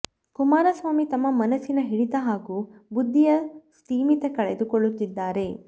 ಕುಮಾರಸ್ವಾಮಿ ತಮ್ಮ ಮನಸ್ಸಿನ ಹಿಡಿತ ಹಾಗೂ ಬುದ್ಧಿಯ ಸ್ಥಿಮಿತ ಕಳೆದು ಕೊಳ್ಳುತ್ತಿದ್ದಾರೆ